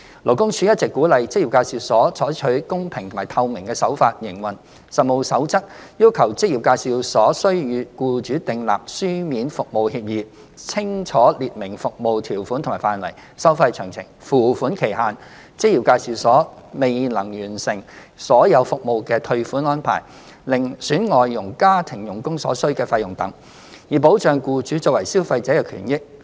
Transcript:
勞工處一直鼓勵職業介紹所採取公平及透明的手法營運，《實務守則》要求職業介紹所須與僱主訂立書面服務協議，清楚列明服務條款和範圍、收費詳情、付款期限、職業介紹所未能完成所有服務的退款安排、另選外籍家庭傭工所需的費用等，以保障僱主作為消費者的權益。